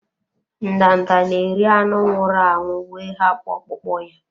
Ndanda na-eri anụ nwụrụ anwụ wee hapụ ọkpụkpụ ya.